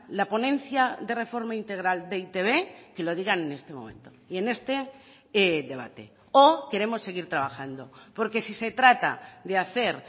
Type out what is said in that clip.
la ponencia de reforma integral de e i te be que lo digan en este momento y en este debate o queremos seguir trabajando porque si se trata de hacer